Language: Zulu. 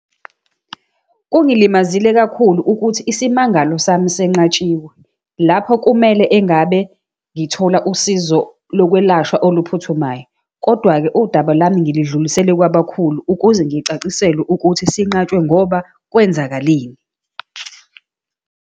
Kungilimazile kakhulu ukuthi isimangalo sami senqatshiwe, lapho kumele engabe ngithola usizo lokwelashwa oluphuthumayo. Kodwa-ke udaba lami ngilidlulisele kwabakakhulu, ukuze ngicaciselwe ukuthi sinqatshwe ngoba kwenzakaleni.